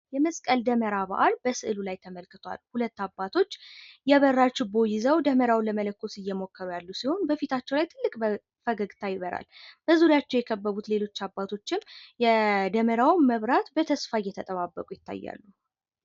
የመስቀል ደመራ በዓል በምስሉ ላይ ተመልክቷል ። ሁለት አባቶች የበራ ችቦ ይዘው ደመራውን ለመለኮስ የሞከሩ ያሉ ሲሆን በፊታቸው ላይ ትልቅ ፈገግታ ይበራል ። ዙሪያቸው የከበቡት ሌሎች አባቶችም የደበውን መብራት በተስፋ እየተጠባበቁ ይታያሉ ።